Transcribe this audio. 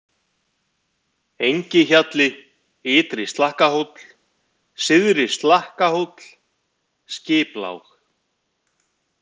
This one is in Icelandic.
Engihjalli, Ytri-Slakkahóll, Syðri-Slakkahóll, Skiplág